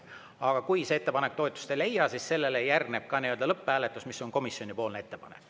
Aga kui see ettepanek toetust ei leia, siis järgneb ka lõpphääletus, mis on komisjoni ettepanek.